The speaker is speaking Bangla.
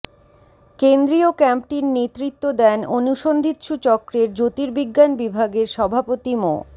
কেন্দ্রীয় ক্যাম্পটির নেতৃত্ব দেন অনুসন্ধিৎসু চক্রের জ্যোতির্বিজ্ঞান বিভাগের সভাপতি মো